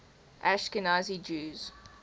ashkenazi jews